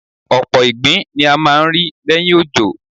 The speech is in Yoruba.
Ọ̀pọ̀ ìgbín ni a máa ń rí lẹ́yìn òjò.